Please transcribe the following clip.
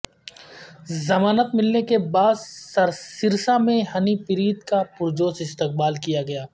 ضمانت ملنے کے بعد سرسا میں ہنیپریت کا پرجوش استقبال کیا گیا